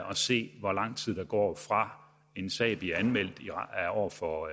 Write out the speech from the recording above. at se hvor lang tid der går fra en sag bliver anmeldt over for